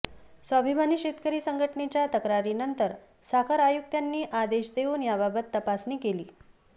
स्वाभिमानी शेतकरी संघटनेच्या तक्रारीनंतर साखर आयुक्तांनी आदेश देऊन याबाबत तपासणी केली